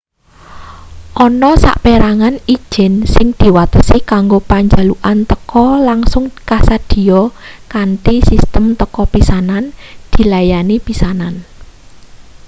ana saperangan ijin sing diwatesi kanggo panjalukan teka langsung kasedhiya kanthi sistem teka pisanan dilayani pisanan